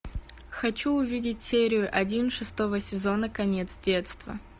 хочу увидеть серию один шестого сезона конец детства